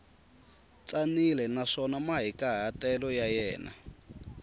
tsanile naswona mahikahatelo ya na